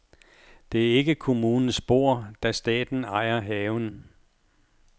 Det er ikke kommunens bord, da staten ejer haven.